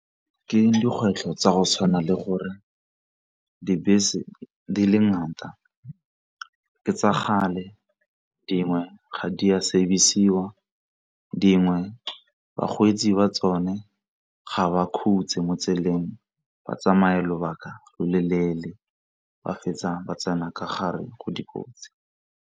Ke dikgwetlho tsa go tshwana le gore dibese di le ngata ke kgale, dingwe ga di a service-siwa, dingwe bakgweetsi ba tsone ga ba khutsi mo tseleng batsamaya lobaka lo loleele ba fetsa ba tsena ka gare go dikotsi.